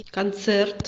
концерт